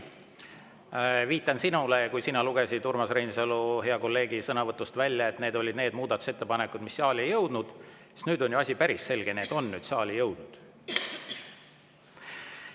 Viitan sinule, et kui sa lugesid Urmas Reinsalu, hea kolleegi sõnavõtust välja, et need olid need muudatusettepanekud, mis saali ei jõudnud, siis nüüd on ju asi päris selge – need on nüüd saali jõudnud.